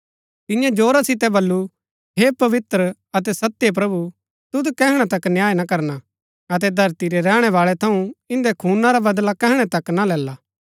तियें जोरा सितै बल्लू हे पवित्र अतै सत्य प्रभु तुद कैहणा तक न्याय ना करना अतै धरती रै रैहणैवाळै थऊँ इंदै खूना रा बदला कैहणै तक ना लैला